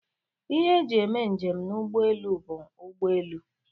Ihe e ji eme njem n' ọdụ ụgbọelu bụ ụgbọelu.